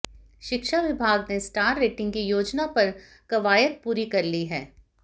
शिक्षा विभाग ने स्टार रेटिंग की योजना पर कवायद पूरी कर ली है